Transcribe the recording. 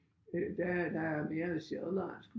Øh der er der er mere sjællandsk